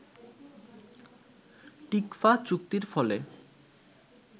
TICFA চুক্তির ফলে